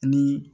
Ni